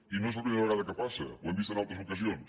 i no és la primera vegada que passa ho hem vist en altres ocasions